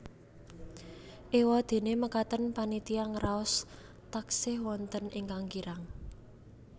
Éwadéné mekaten panitia ngraos taksih wonten ingkang kirang